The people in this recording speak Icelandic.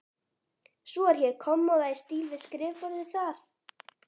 Svo er hér kommóða í stíl við skrifborðið þar.